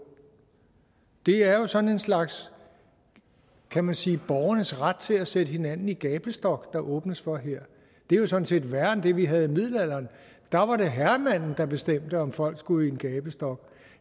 det er jo sådan en slags kan man sige borgernes ret til at sætte hinanden i gabestok der åbnes for her det er jo sådan set værre end det vi havde i middelalderen der var det herremanden der bestemte om folk skulle i en gabestok